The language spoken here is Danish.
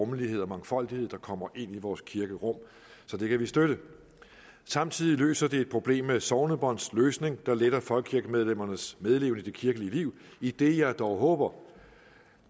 rummelighed og mangfoldighed der kommer ind i vores kirkerum så det kan vi støtte samtidig løser det et problem med sognebåndsløsning der letter folkekirkemedlemmernes medleven i det kirkelige liv idet jeg dog håber